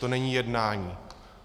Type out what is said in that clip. To není jednání.